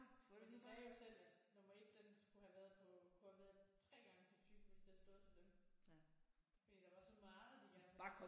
For de sagde jo selv at nummer 1 den skulle have været på på hvad 3 gange så tyk hvis det havde stået til dem fordi der var så meget de gerne